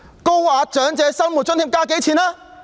高額長者生活津貼增加了多少？